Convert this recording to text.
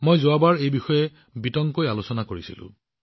মই যোৱাবাৰ এই বিষয়ে বিতংভাৱে আলোচনা কৰিছিলো